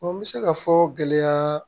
n bɛ se ka fɔ gɛlɛya